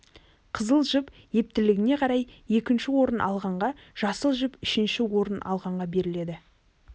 қызыл жіп ептілігіне қарай екінші орын алғанға жасыл жіп үшінші орын алғанға беріледі